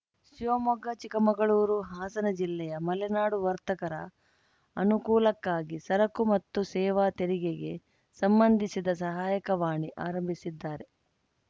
ಶಿವಮೊಗ್ಗ ಚಿಕ್ಕಮಗಳೂರು ಹಾಸನ ಜಿಲ್ಲೆಯ ಮಲೆನಾಡು ವರ್ತಕರ ಅನುಕೂಲಕ್ಕಾಗಿ ಸರಕು ಮತ್ತು ಸೇವಾ ತೆರಿಗೆಗೆ ಸಂಬಂಧಿಸಿದ ಸಹಾಯಕವಾಣಿ ಆರಂಭಿಸಿದ್ದಾರೆ